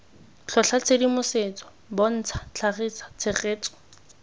tlhotlha tshedimosetso bontsha tlhagisa tshegetso